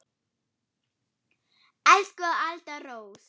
Elsku Alda Rós.